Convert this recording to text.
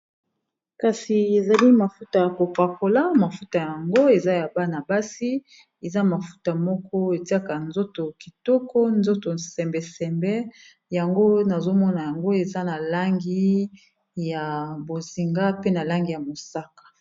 kasi ezali mafuta ya kopakola mafuta yango eza ya bana basi eza mafuta moko etiaka nzoto kitoko nzoto sembesembe yango nazomona yango eza na langi ya bozinga pe na langi ya mosaka